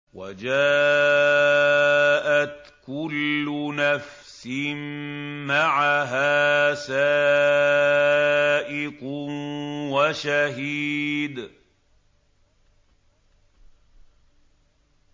وَجَاءَتْ كُلُّ نَفْسٍ مَّعَهَا سَائِقٌ وَشَهِيدٌ